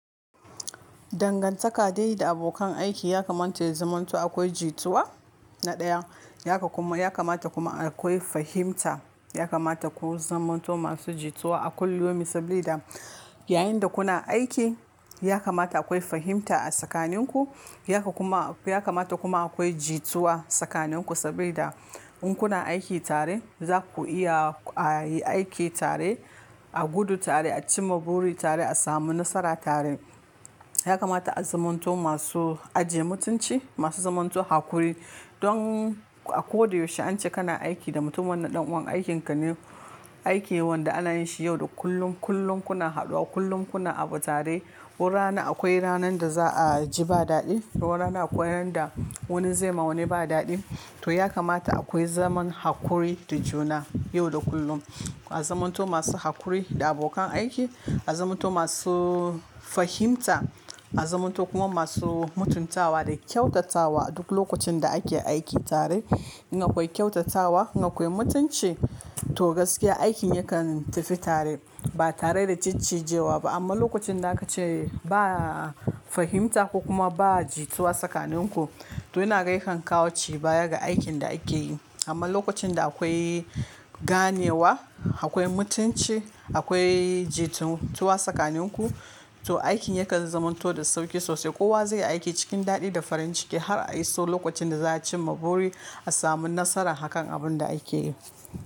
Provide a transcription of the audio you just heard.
Dangantaka dai da abokan aiki ya kamata ya zamanto akwai jituwa na ɗaya. Yaka kuma, ya kamata kuma akwai fahimta. Ya kamata ku zamanto masu jituwa a kullumi sabida yayinda kuna aiki ya kamata akwai fahimta a tsakanin ku. Yaka kuma, ya kamata kuma akwai jituwa tsakaninku sabida in kuna aiki tare zaku iya ayi aiki tare, a gudu tare, acima buri tare, a samu nasara tare. Ya kamata a zamanto masu ajiye mutunci, masu zamanto haƙuri don a koda yaushe ance kana aiki da mutum wanda ɗan'uwan aikinka ne, aiki wanda ana yinshi yau da kullum, kullum kuna haduwa, kullum kuna abu tare. Wuri rana akwai ranar da za'a ji ba daɗi, wur rana akwai ranarda wani zaima wani ba daɗi. To yakamata akwai zaman haƙuri da juna yau da kullum. A zamanto masu haƙuri da abokan aiki, a zamanto masu fahimta, a zamanto kuma masu mutuntawa da kyautatawa a duk lokacinda ake aiki tare. In akwai kyautatawa, in akwai mutunci to gaskiya aikin yakan tafi tare ba tareda ciccijewaba. Amma lokacinda akace ba fahimta ko kuma ba jituwa tsakaninku, to inaga yakan kawo cibaya ga aikin da akeyi. Amma lokacinda akwai ganewa, akwai mutunci, akwai jituwa tsakaninku to aikin yakan zamanto da sauƙi sosai. Kowa zaiyi aiki cikin daɗi da farin ciki har a iso lokacinda za'a cimma buri, a samu nasarar hakan abunda akeyi.